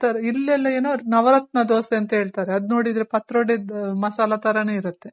ಇಲೆಲ್ಲ ಏನೋ ನವರತ್ನ ದೋಸೆ ಅಂತ ಹೇಳ್ತಾರೆ ಅದ್ ನೋಡಿದ್ರೆ ಪತ್ರೊಡೆ ದು ಮಸಾಲ ತರನೇ ಇರುತ್ತೆ.